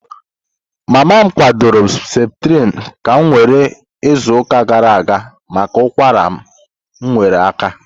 Mama m kwadoro Septrin ka m were izuụka gara aga maka ụkwara ma nyere aka.